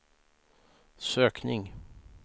sökning